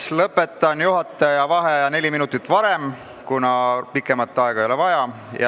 Lõpetan juhataja vaheaja neli minutit varem, kuna rohkem aega ei ole vaja.